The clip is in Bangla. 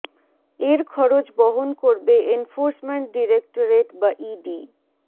এর খরচ বহন করবে এনফোর্সমেন্ট ডিরেক্টরেট বা ইডি